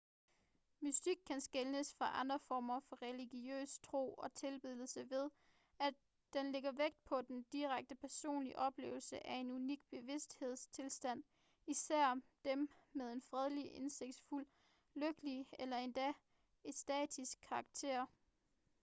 mystik kan skelnes fra andre former for religiøs tro og tilbedelse ved at den lægger vægt på den direkte personlige oplevelse af en unik bevidsthedstilstand især dem med en fredelig indsigtsfuld lykkelig eller endda ekstatisk karakter